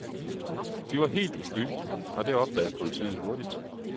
De var helt uskyldige, og det opdagede politiet hurtigt.